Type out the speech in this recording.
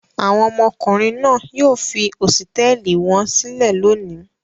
Àwọn ọmọkùnrin náà yóò fi hósítẹ́ẹ́lì wọn sílẹ̀ lónìí.